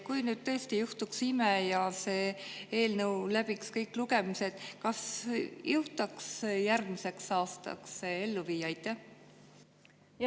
Kui tõesti juhtuks ime ja see eelnõu läbiks kõik lugemised, siis kas järgmiseks aastaks jõutakse see ellu viia?